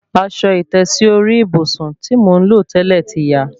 Aṣọ ìtẹ́sí orí ìbùsùn tí mò ń lò tẹ́lẹ̀ ti ya